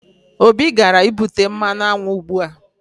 Obi gara ibute mmanụ aṅụ ugbua